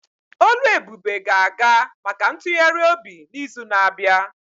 Oluebube ga-aga maka ntụgharị obi n'izu na-abịa.